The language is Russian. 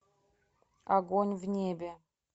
огонь в небе